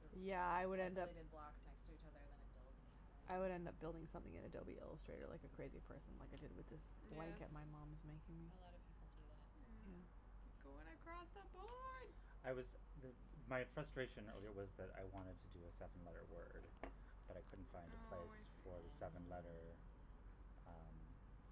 the Yeah, I would end up tessolated blocks next to each other, then it builds the pattern. I would end up building something in Adobe Illustrator like a crazy person, like I did with this Yes. blanket my mom's making me. A lot of people do that. Yeah. Yeah. You're going across the board. I was m- my frustration earlier was that I wanted to do a seven letter word, but I couldn't find a Oh, I place see. for the seven letter, Oh. um,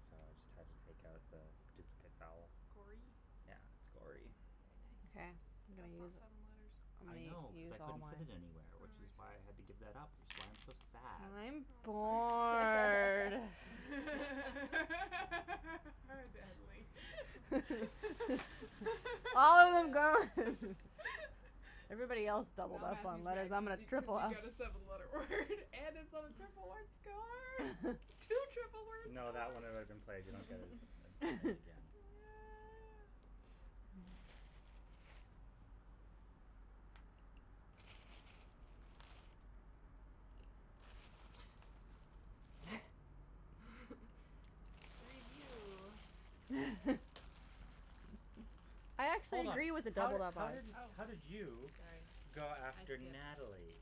so I just had to take out the duplicate vowel. Gory? Yeah, it's gory. Very Okay, nice. I'm But gonna that's not use seven letters. I'm I gonna know u- cuz use I all couldn't mine. fit it anywhere, which is Oh, I why I had to see. give that up, which is why I'm so sad. And I'm bored. Oh, Natalie. All them are Good. gone. Everybody else doubled Now up on Matthew's letters. mad And I'm cuz gonna you cuz triple you up. got a seven letter word and it's on a triple word score. Two triple word No, that scores. one had already been played. You don't get it it it again. Yeah. Review. I actually Hold on, agree with the how did doubled up how Oh, letters. did how did you sorry. go I after skipped. Natalie?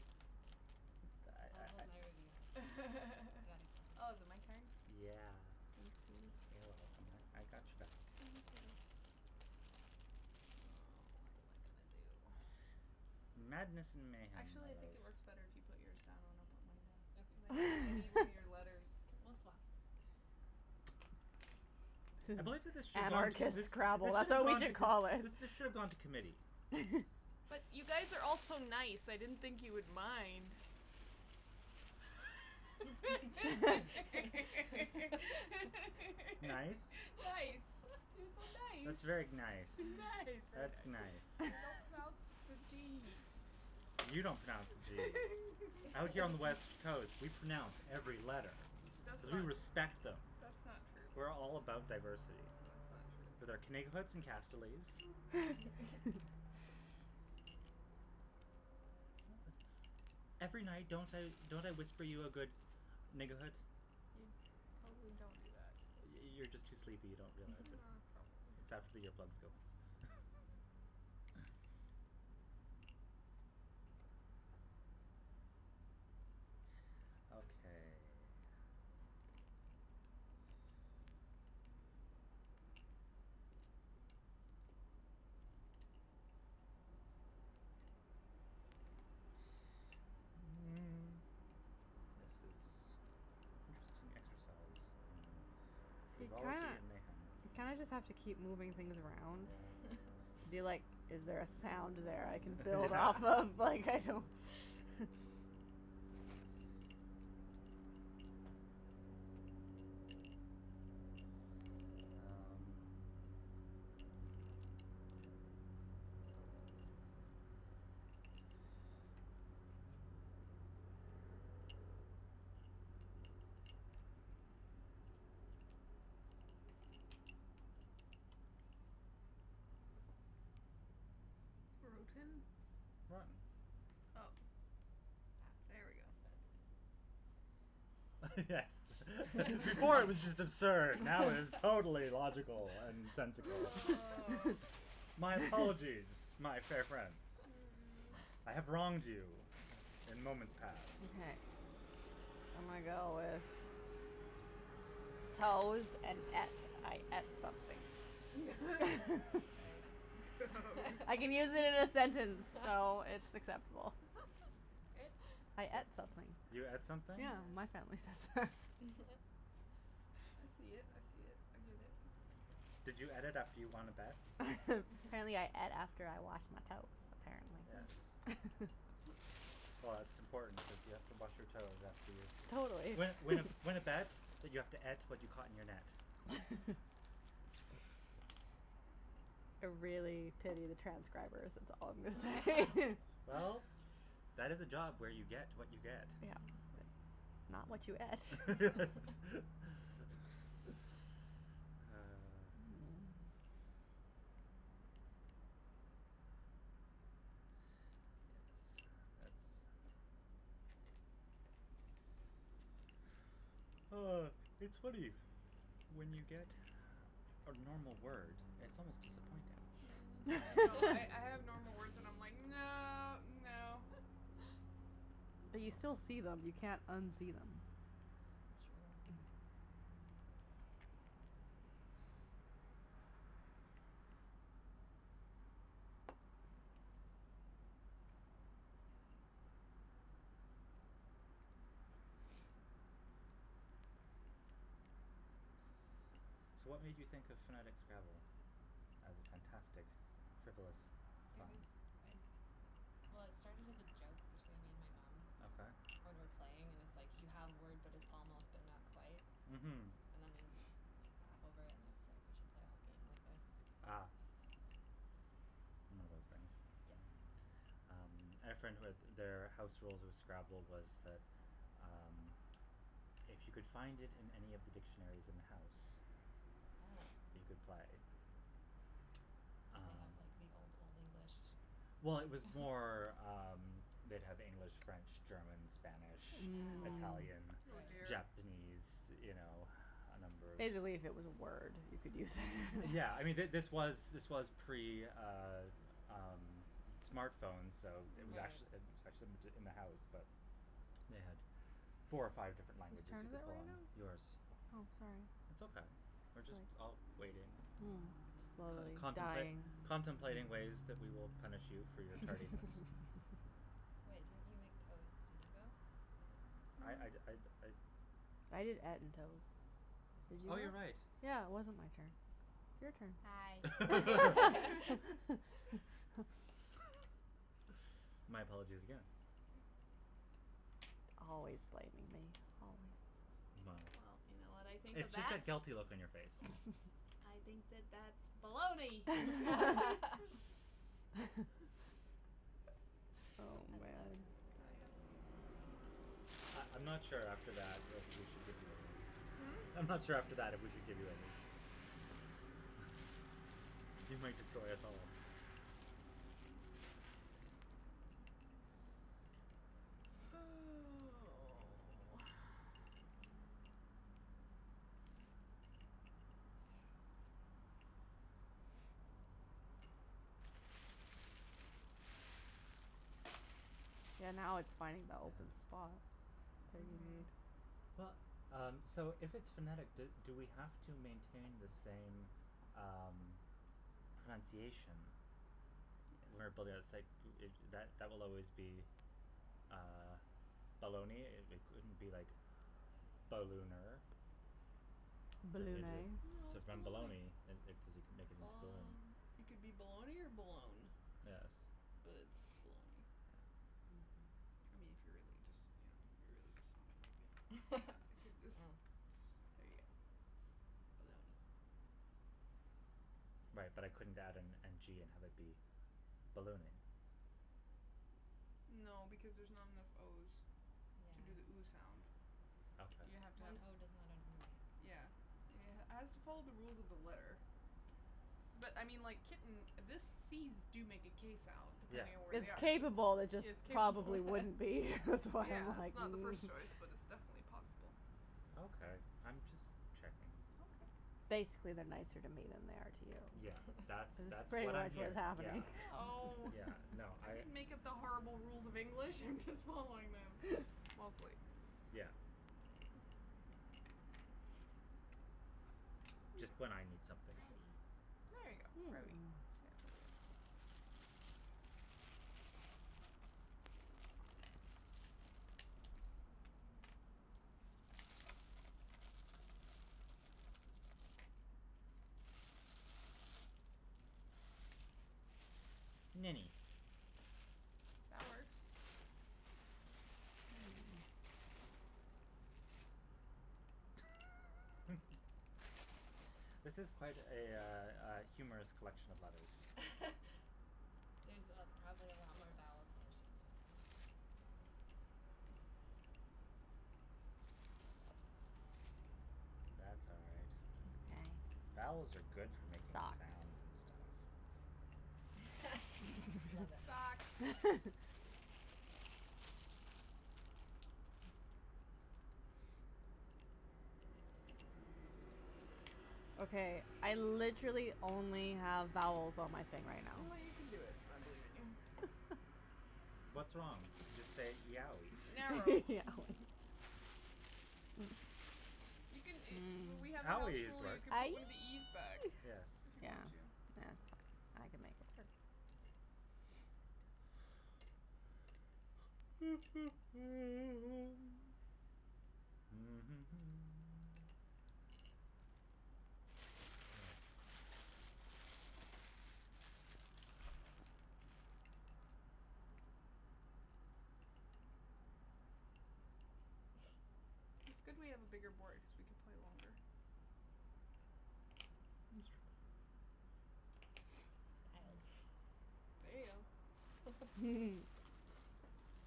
I I'll I I hold my review. I got Oh, is it my excited. turn? Yeah. Thanks, sweetie. You're welcome. I I got your back. Thank you. Oh, what am I gonna do? Madness and mayhem, my Actually, I think love. it works better if you put yours down when I put mine down. Cuz I need I need one Okay. of your letters. We'll swap. I believe that this should gone Anarchist this Scrabble, this should that's have what we gone t- should call it. this should have gone to committee. But you guys are all so nice, I didn't think you would mind. Nice. Nice, you're Nice. That's so very nice. nice. Nice. That's nice. You don't pronounce the d. You don't pronounce the zee. Out here on the west coast, we pronounce every letter That's cuz we not respect them. that's not We're all true. about That's diversity. not With true. our Every night, don't I don't I whisper you a good? You totally don't do that. You you're just too sleepy, you Ah, don't realize it. It's after probably. earplugs go. Okay. This is an interesting exercise in You kinda frivolity and mayhem. you kinda just have to keep moving things around Yeah and be like, is there a sound there I can build Yeah. off of? Like, I don't Um Broten? Rotten. Oh, Ah. there we go. That's better. Yes. Before it was just absurd. Now it is totally logical and sensical. Oh. My apologize, my fair friends. Mm. I have wronged you in moments past. Okay, I'm gonna go with toes and et. I et something. Very nice. I can use Toes. it in a sentence, so it's acceptable. I et something. You et Yeah. something? Yeah, my family says that. I see it, I see it, I give it. Did you et it after you won a bet? Apparently I et after I washed my toes, Yes. apparently. Well, it's important because you have to wash your toes after you Totally. Win win a win a bet, but you have to et to what you caught in your net. I really pity the transcribers, that's all I'm gonna say. Oh. Well, that is a job where you get what you get. Yeah. Not what you et. Ah. Yes, it's Oh, it's funny. When you get a normal word, it's almost disappointing. I know. I I have normal words and I'm like, no, no. But you still see them. You can't unsee them. It's true. So, what made you think of phonetic Scrabble as a fantastic frivolous It fun? was I, well, it started as a joke between me and my mom. Okay. When we're playing and it's like you have a word but it's almost but not quite Mhm. and then you, like, laugh over and I was like, we should play a whole game like this. Ah. One of those things. Yeah. Yep. Um, I had a friend who had their house rules of Scrabble was that, um, if you could find it in any of the dictionaries in the house, you Oh. could play. Did they have, Um like, the Old Old English? Well, it was more, um, they'd have English, French, German, Spanish, Ah. Italian, Mm. Oh, Right. dear. Japanese, you know, a number If of they believe it was a word, you could use it. Yeah, I mean, th- this was this was pre, uh um, smartphones, so it was Right. ac- it was Mhm. actually in the house, but they had four or five Whose different languages turn you is it could pull right on. now? Yours. Oh, sorry. It's okay, we're just all waiting, Mm. Slowly contempla- dying. contemplating ways that we will punish you for your tardiness. Wait, didn't you make toes? Did you go? I I'd I'd Mm. I'd I did et and toe. So it's Oh, your you're right. turn. Yeah, it wasn't my turn. It's Hi. your turn. My apologies again. Always blaming me, always. Well, Well, you know what I think of it's just that? that guilty look on your face. I think that that's baloney. Oh, I love it. man. Can I have some, please? I I'm not sure after that if we should give you any. Hmm? I'm not sure after that if we should give you any. You might destroy us all. Oh. Yeah, now Yes. it's funny though, cuz Mhm. Well, um, so if it's phonetic, do do we have to maintain the same, um, pronunciation. Where b- Yes. it's like that that that will always be, uh, baloney. It it couldn't be like ballooner. Turn it into Balloonay. No, So it's then baloney. baloney and it cuz you can make it into balloon. Bal- it could be baloney or balone, Yes. but it's baloney. Yeah. I mean, if you're really just, you know, if you really just want to make it that, you could just Yeah. Mm. There you go. Baloney. Right, but I couldn't add an n g and have it be ballooning. No because there's not enough o's Yeah. to do the ooh sound. You have to Okay. have One o does not an ooh make. Yeah. has to follow the rules of the letter. But, I mean, like, kitten, this c's do make a k sound Yeah. depending on where It's they are. capable, it Yes, just capable. probably wouldn't be. That's why Yeah, I'm it's like not the first choice, but it's definitely possible. Okay. I'm just checking. Okay. Basically, they're nicer to me than they are to Yeah, you. that's That's that's pretty what I'm much what's hearing. Yeah, happening. Oh. yeah, no, I I didn't make up the horrible rules of English, I'm just following them. Mostly. Yeah. Just when I need something. Grody. There you go, grody. Yeah, there you go. Mini. That works. This is quite a, uh, uh, humorous collection of letters. There's probably a lot more vowels than there should be there. That's all right. Vowels are good for making sounds and stuff. Love it. Socks. Okay, I literally only have vowels on my thing I right now. know you can do it. I believe in you. What's wrong? Just say yowee. Narrow. You can a W- we had a house Owee is rule, you work. can put one of Aeeee. the e's back. Yes. If you Yeah, want to. yeah, that's fine, I can make it. Yes. It's good we have a bigger board cuz we can play longer. It's true. Dialed. There you go.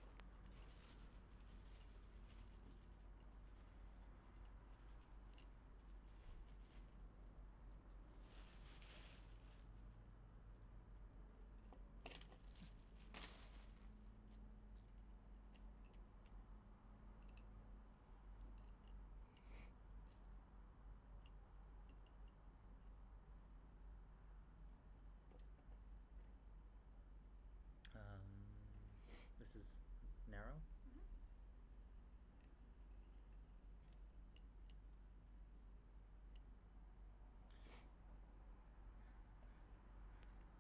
Um, this is narrow? Mhm.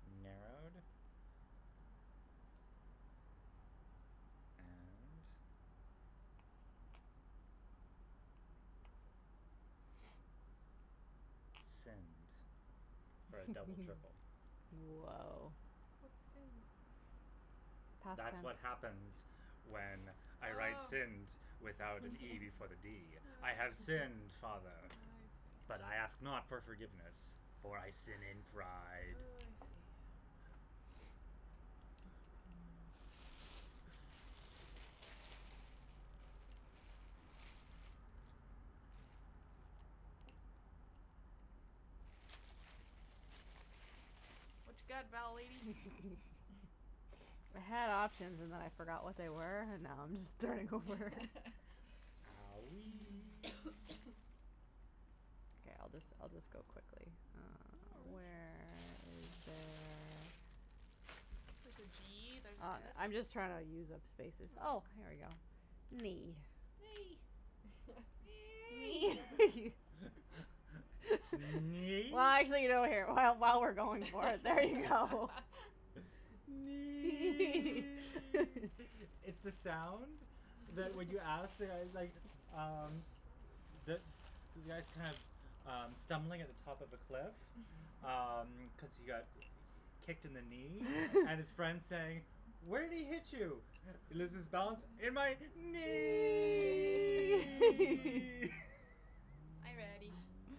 Narrowed? And Sinned for a double triple. Whoa. Nice. What's sinned? Past That's what happens tense. when I write Oh. sinned without an e before the d. I have Oh. sinned, I father, see. but I ask not for forgiveness, for I sin in Oh, pride. I see. What you got, vowel lady? I had options and then I forgot what they were and now I'm just starting over. Owee. Okay, I'll just I'll just go quickly. No Uh, worries. where is there There's a g, there's an I'm s. just trying to use up spaces. Oh, Mm. here we go. Knee. Nay. Knee. Knee? Well, actually, while we're going for it, there you go. Nee! It's the sound that when you ask, like, um, the the guy's kind of, um, stumbling at the top of a cliff, um, cuz he got kicked in the knee and his friend's saying, "Where'd he hit you?" He loses balance. "In my Knee. knee!" Are you ready?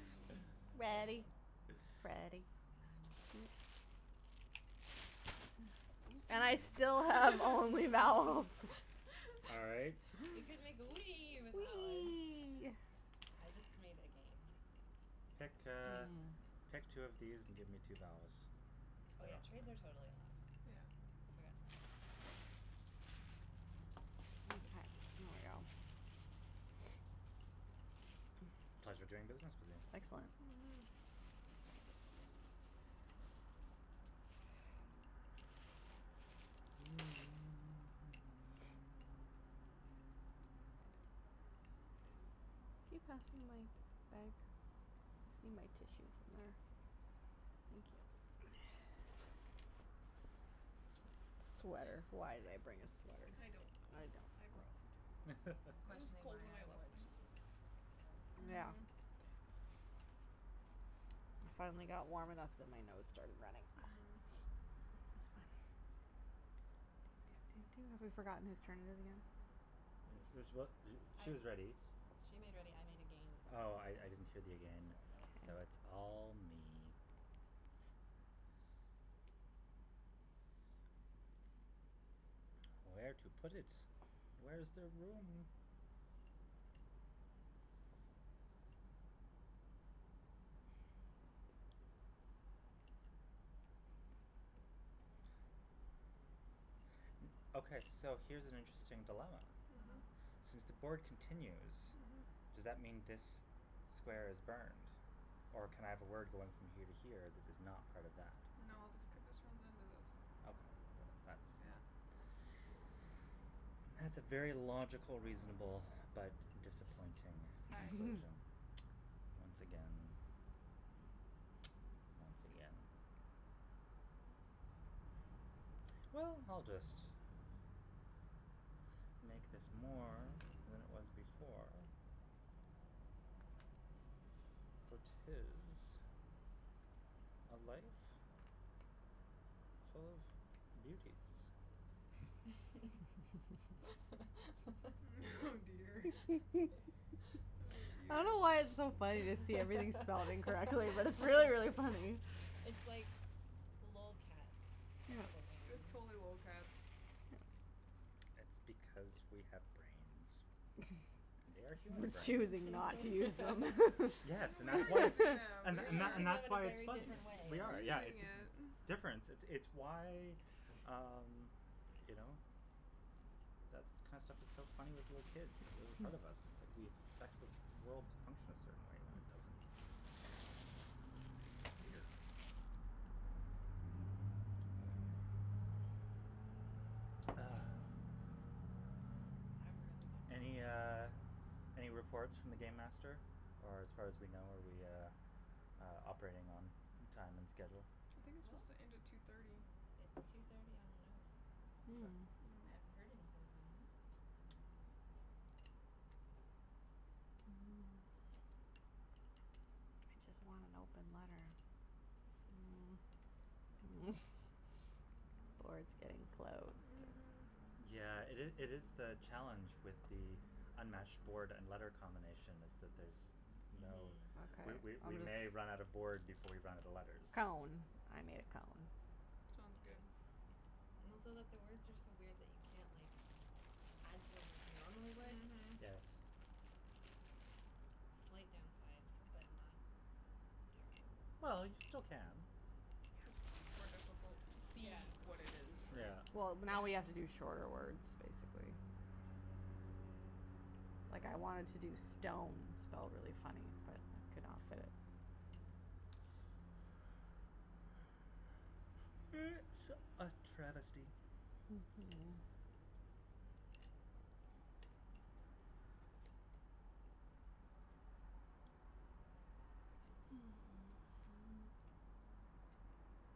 Ready, Nice. Freddy. And I still have only vowels. All right. You can make the wee with that one. Wee. I just made again. Pick, Mhm. uh, pick two of these and give me two vowels. Oh, yeah, trades are totally allowed. Yeah. I forgot to mention that. Pleasure doing business with you. Excellent. Mhm. Keep that in mind. Thank you. Sweater. Why did I bring a sweater? I don't know. I brought one, too. I'm It was questioning cold why when I I left wore my house. jeans, so Yeah. Mhm. I finally got warm enough that my nose started running. Mm. Have we forgotten whose turn it is again? This is what I she is ready. She made ready, I made again. Oh, I I didn't hear the It's again, there I so go. it's all me. Where to put it. Where's there room? Okay, so here's an interesting dilemma. Mhm. Mhm. Since the board continues, Mhm. does that mean this square is burned, or can I have a word going from here to here that is not part of that? No, this could this runs into this. Okay, th- that's Yeah. That's a very logical, reasonable but disappointing conclusion once again. Once again. Well, I'll just make this more than it was before. For it is a life full of beauties. Oh dear. Oh, I dear. don't know why it's so funny to see everything spelled incorrectly, but it's really, really funny. It's like lolcats Scrabble game. It was totally lolcats. It's because we have brains. And they are human We're brains. choosing not to use them. Yes, and We that's are why it's using them, and we th- We're and th- are. and using them that's in a why it's very funny. different We way. We're are, yeah, using it's it. difference. It's why, um, you know, that kind of stuff is so funny with little kids, a part of us, it's like we expect the world to function a certain way when it doesn't. Weird. Ah. I have a really Any, good one. uh, any reports from the game master, or as far as we know are we, uh, operating on time and schedule? I think it's Well, supposed to end at two thirty. it's two thirty on the nose. Okay. I haven't Hmm. heard anything from him. Hmm. I just want an open letter. Or it's getting close to Mhm. Yeah, it is it is the challenge with the unmatched board and letter combination is that there's no Mhm. We Okay, we we I'll may run out of just board before we run out of letters. Column. I made a column. Sounds good. And also that the words are so weird that you can't, like, add to them like you normally would. Mhm. Yes. Slight downside but not terrible. Well, you still can. Just more difficult to see Yeah. what it is, yeah. Yeah. Well, now we have to do Yeah. shorter words, basically. Like, I wanted to do stone spelled really funny, but it couldn't all fit. It's a travesty.